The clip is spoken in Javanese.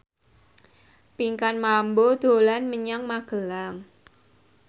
Pinkan Mambo dolan menyang Magelang